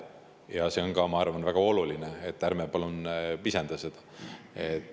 Ja see on ka, ma arvan, väga oluline, ärme palun pisendame seda.